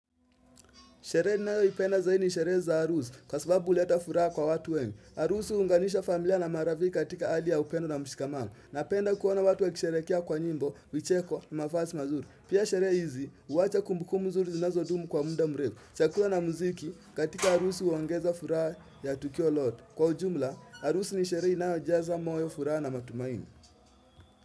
Sherehe ninao ipenda zaidi ni sherehe za aruzi kwa sababu huleta furaha kwa watu wengi. Aruzi unganisha familia na maravi katika ali ya upendo na mshikamano. Napenda kuona watu wa kisherekea kwa nyimbo, vicheko na mafazi mazuri. Pia sherehe hizi huwacha kumbu kumbu zuri zinazo dumu kwa muda mrefu. Chakula na muziki katika arusi uongeza furaha ya tukio lote. Kwa ujumla, aruzi ni sherehe inayo jazwa moyo furaha na matumaini.